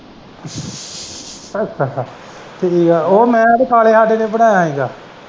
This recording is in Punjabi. ਅੱਛਾ-ਅੱਛਾ ਤੇ ਓ ਮੈਂ ਤੇ ਸਾਲੇ ਹਾਡੇ ਨੇ ਬਣਾਇਆ ਹੀਗਾ।